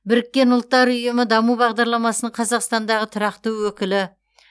біріккен ұлттар ұйымы даму бағдарламасының қазақстандағы тұрақты өкілі